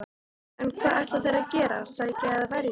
En hvað ætla þeir að gera, sækja eða verjast?